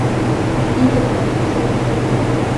иля патрушев